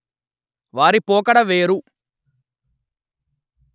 వారి పోకడ వేరు